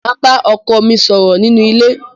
Màá bá ọkọ mi ṣọ̀rọ̀ nínú ilé.